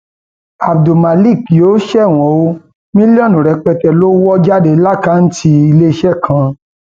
abdulmak yóò ṣẹwọn o mílíọnù rẹpẹtẹ lọ wọ jáde lákàtúntì iléeṣẹ kan